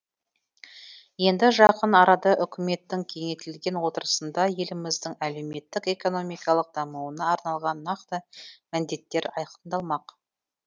енді жақын арада үкіметтің кеңейтілген отырысында еліміздің әлеуметтік экономикалық дамуына арналған нақты міндеттер айқындалмақ